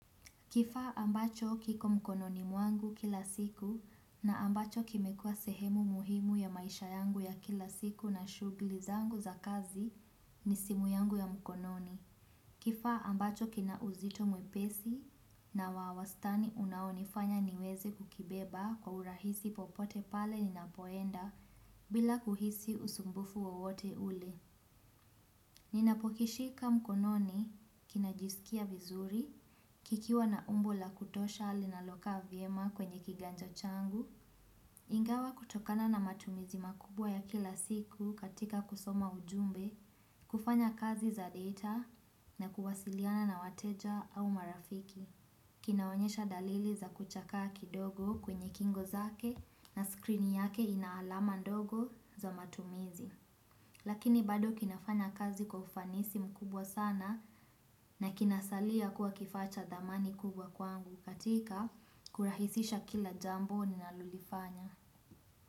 Kifaa ambacho kiko mkononi mwangu kila siku na ambacho kimekuwa sehemu muhimu ya maisha yangu ya kila siku na shughuli zangu za kazi ni simu yangu ya mkononi. Kifaa ambacho kina uzito mwepesi na wa wastani unaonifanya niweze kukibeba kwa urahisi popote pale ninapoenda bila kuhisi usumbufu wowote ule. Ninapokishika mkononi kinajisikia vizuri, kikiwa na umbo la kutosha linalokaa vyema kwenye kiganja changu. Ingawa kutokana na matumizi makubwa ya kila siku katika kusoma ujumbe, kufanya kazi za data na kuwasiliana na wateja au marafiki. Kinaonyesha dalili za kuchakaa kidogo kwenye kingo zake na screen yake ina alama ndogo za matumizi. Lakini bado kinafanya kazi kwa ufanisi mkubwa sana na kinasalia kuwa kifaa cha thamani kubwa kwangu katika kurahisisha kila jambo ninalolifanya.